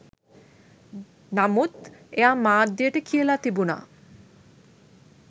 නමුත් එයා මාධ්‍යයට කියලා තිබුණා